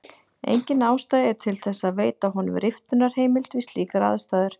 Engin ástæða er til þess að veita honum riftunarheimild við slíkar aðstæður.